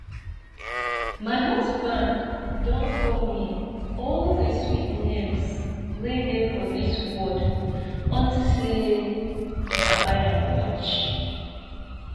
my husband don call me all the sweet names wey dey for dis world unto say i buy am watch